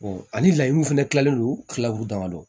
ani layiru fɛnɛ kilalen don kilagu dama don